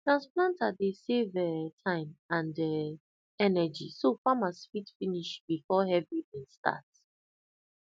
transplanter dey save um time and um energy so farmers fit finish before heavy start